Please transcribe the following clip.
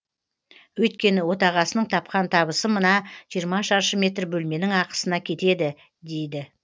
өйткені отағасының тапқан табысы мына жиырма шаршы метр бөлменің ақысына кетеді дейді